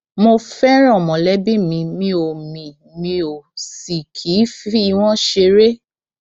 mo fẹràn mọlẹbí mi mi ò mi ò sì kì í fi wọn ṣeré